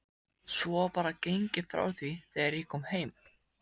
Svo var bara gengið frá því þegar ég kom heim?